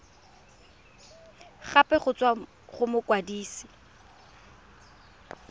gape go tswa go mokwadise